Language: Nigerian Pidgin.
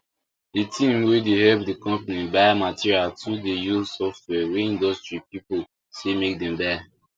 the team wey dey help the company buy materials too dey use software wey industry people say make dem buy